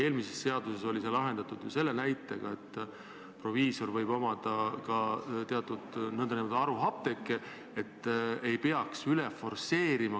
Eelmises seaduses oli see lahendatud ju sedasi, et proviisor võib omada ka nn haruapteeke, et investeeringu mõttes ei peaks forsseerima.